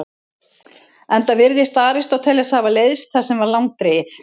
Enda virðist Aristóteles hafa leiðst það sem var langdregið.